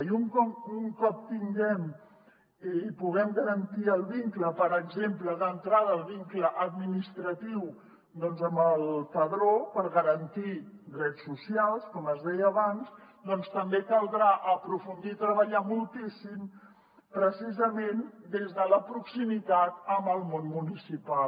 i un cop tinguem i puguem garantir el vincle per exemple d’entrada el vincle administratiu amb el padró per garantir drets socials com els deia abans doncs també caldrà aprofundir i treballar moltíssim precisament des de la proximitat amb el món municipal